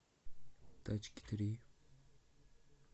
тачки три